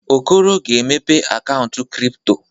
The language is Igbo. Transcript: Okoro ga-emepe akaụntụ kripto.